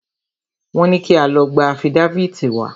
Wọ́n ní kí a lọ gba afídáfìtì wá.